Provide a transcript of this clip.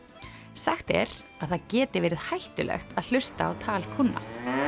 sagt er að það geti veri ð hættulegt að hlusta á tal kúnna